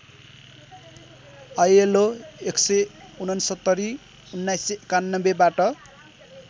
ILO १६९ १९९१ बाट